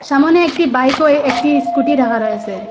সামোনে একটি বাইক ও এ-একটি স্কুটি রাখা রয়েছে।